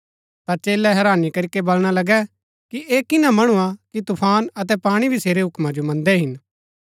ता चेलै हैरानी करीके बलणा लगै कि ऐह किना मणु हा कि तूफान अतै पाणी भी सेरै हुक्मा जो मन्दै हिन